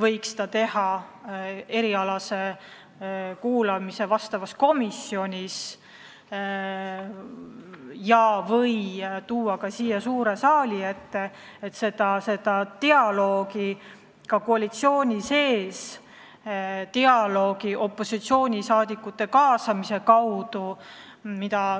võiks teha tema erialase kuulamise valdkonna komisjonis ja/või tuua ta ka siia suure saali ette, et kaasata dialoogi rohkem ka opositsioonisaadikuid.